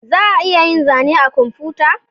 Za a iya yin zane da kwamfuta